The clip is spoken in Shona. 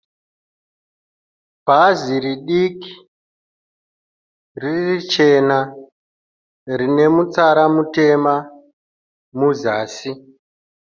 Bhazi ridiki, riri chena rine mutsara mutema muzasi.